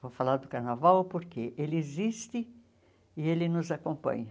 Vou falar do carnaval porque ele existe e ele nos acompanha.